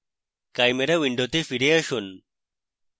chimera window ফিরে আসুন